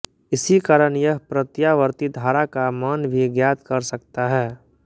इसी कारण यह प्रत्यावर्ती धारा का मान भी ज्ञात कर सकता है